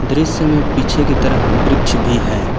दृश्य में पीछे की तरफ वृक्ष भी है।